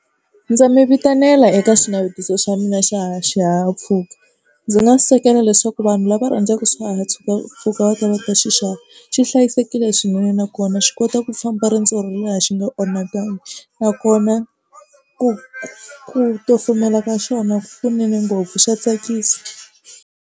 Ndza mi vitanela eka xinavetiso swa mina xa xihahampfhuka ndzi nga leswaku vanhu lava rhandzaka mpfhuka va ta va xi xava. Xi hlayisekile swinene nakona xi kota ku famba riendzo ro leha xi nga onhakangi nakona ku ku kumela ka xona kunene ngopfu xa tsakisa.